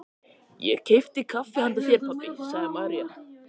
Ég keypti kaffi handa þér, pabbi, sagði María.